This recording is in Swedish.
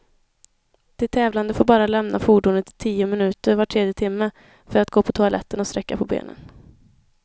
De tävlande får bara lämna fordonet i tio minuter var tredje timme, för att gå på toaletten och sträcka på benen.